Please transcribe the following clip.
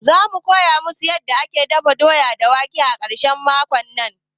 Za mu koya musu yanda ake dafa doya da wake a ƙarshen makon nan